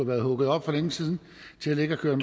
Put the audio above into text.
været hugget op for længe siden til at ligge og køre